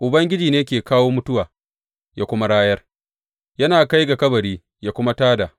Ubangiji ne ke kawo mutuwa, yă kuma rayar yana kai ga kabari, yă kuma tā da.